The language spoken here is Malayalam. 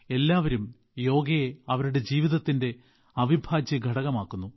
എല്ലാവരും യോഗയെ അവരുടെ ജീവിതത്തിന്റെ അവിഭാജ്യഘടകമാക്കുന്നു